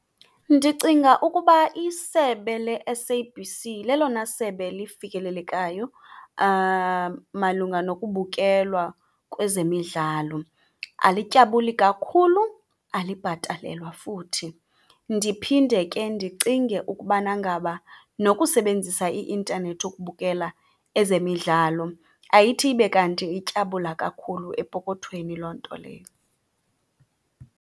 Ndicinga ukuba isebe le-S_A_B_C lelona sebe lifikelelekayo malunga nokubukelwa kwezemidlalo. Alityabuli kakhulu, alibhatalelwa futhi. Ndiphinde ke ndicinge ukubana ngaba nokusebenzisa i-intanethi ukubukela ezemidlalo ayithi ibe kanti ityabula kakhulu epokothweni loo nto leyo.